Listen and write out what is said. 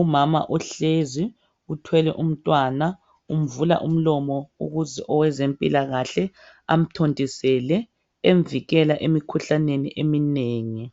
Umama uhlezi uthwele umntwana umvula umlomo ukuze owezempilakahle amthontisele emvikela emikhuhlaneni eminengi.